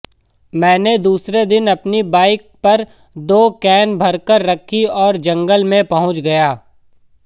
मैंने दूसरे दिन अपनी बाइक पर दो कैन भरकर रखीं और जंगल में पहुँच गया